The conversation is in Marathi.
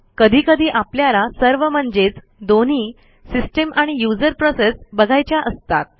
कधी कधी आपल्याला सर्व म्हणजेच दोन्ही सिस्टीम आणि युजर प्रोसेस बघायच्या असतात